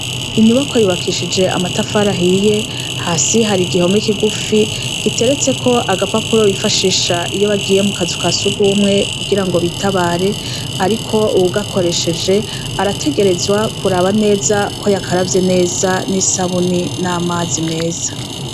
Inyubako yubakishije amatafarahiye hasi hari igihome kigufi giteretse ko agapapuro bifashisha iyo bagiye mu kazu ka sugumwe kugira ngo bitabare, ariko uwugakoresheje arategerezwa kuraba neza ko yakaravye neza n'isabuni n'amazi meza.